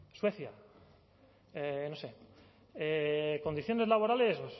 suecia no sé condiciones laborales